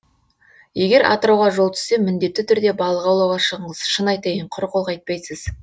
егер атырауға жол түссе міндетті түрде балық аулауға шығыңыз шын айтайын құр қол қайтпайсыз